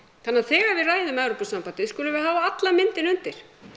þannig að þegar við ræðum um Evrópusambandið skulum við hafa alla myndina undir